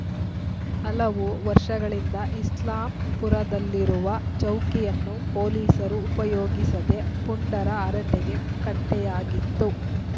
ಹಲವು ವರ್ಷಗಳಿಂದ ಇಸ್ಲಾಂಪುರದಲ್ಲಿರುವ ಚೌಕಿಯನ್ನು ಪೊಲೀಸರು ಉಪಯೋಗಿಸದೆ ಪುಂಡರ ಹರಟೆ ಕಟ್ಟೆಯಾಗಿತ್ತು